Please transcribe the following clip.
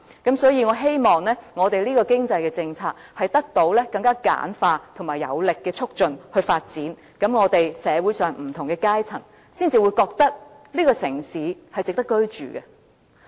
因此，我希望這項經濟政策是以更簡化的程序和有力度的推動來發展，這樣，社會上的不同階層才會認為這個城市是值得居住的。